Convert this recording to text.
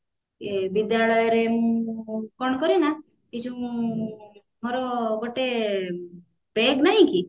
ବିଦ୍ୟାଳୟରେ ମୁଁ କଣ କରେ ନା ଏଇ ଯୋଉ ଆମର ଗୋଟେ bag ନାହିଁକି